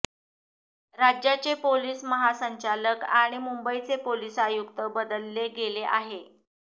राज्याचे पोलीस महासंचालक आणि मुंबईचे पोलीस आयुक्त बदलले गेले आहे